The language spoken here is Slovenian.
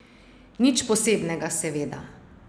Nič posebnega, seveda.